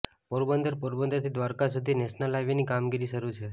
પોરબંદરઃ પોરબંદર થી દ્વારકા સુધી national highway ની કામગીરી શરૂ છે